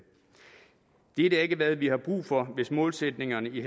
dette er ikke hvad vi har brug for hvis målsætningerne i